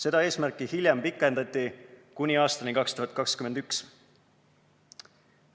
Seda eesmärki hiljem pikendati kuni aastani 2021.